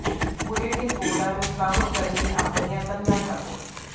bulletin ਬੋਰਡਾਂ ਨੂੰ ਕੰਮ ਕਰਨ ਲਈ ਆਪਣੀਆਂ ਕੰਧਾਂ ਢੱਕੋ